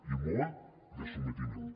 i molt de sotmetiment